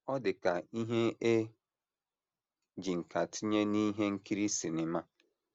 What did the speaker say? Ọ dị ka ihe e ji nkà tinye n’ihe nkiri sinima.